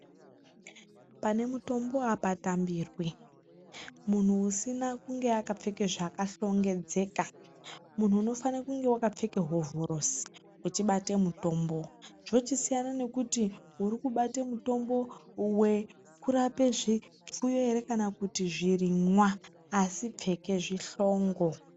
Pane mutombo apatambirwi, muntu usina kunge akapfeka zvakahlongedzeka muntu unofana kunge wakapfeka hovhorosi uchibate mutombo zvochisiyana nekuti urikubate mutombo wekurape zvipfuyo ere kana kuti zvirimwa asi pfeke zvihlongo.